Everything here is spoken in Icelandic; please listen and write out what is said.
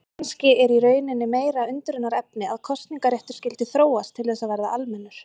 Kannski er í rauninni meira undrunarefni að kosningaréttur skyldi þróast til þess að verða almennur.